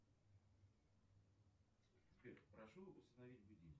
сбер прошу установить будильник